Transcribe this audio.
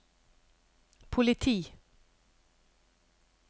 politi